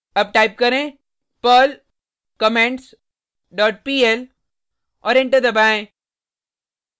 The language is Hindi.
अब टाइप करें perl comments dot pl और एंटर दबाएँ